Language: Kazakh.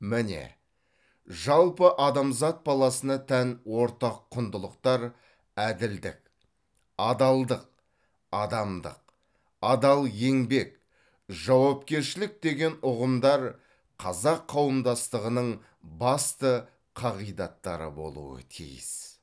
міне жалпы адамзат баласына тән ортақ құндылықтар әділдік адалдық адамдық адал еңбек жауапкершілік деген ұғымдар қазақ қауымдастығының басты қағидаттары болуы тиіс